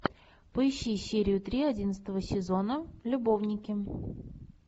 поищи серию три одиннадцатого сезона любовники